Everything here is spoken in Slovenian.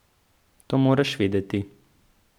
To moraš vedeti.